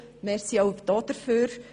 Auch dafür herzlichen Dank!